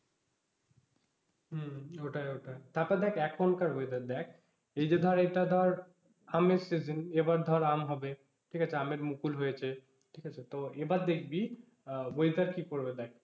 হম ওটাই ওটাই। তারপরে দেখ এখনকার weather দেখ এই যে ধর এটা ধর আমের season এবার ধর আম হবে ঠিক আছে আমের মুকুল হয়েছে ঠিক আছে তো এবার দেখবি আহ weather কি করবে দেখ,